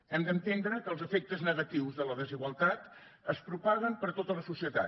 hem d’entendre que els efectes negatius de la desigualtat es propaguen per tota la societat